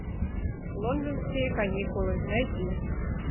лондонские каникулы найди